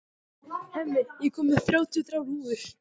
Hemmi, ég kom með þrjátíu og þrjár húfur!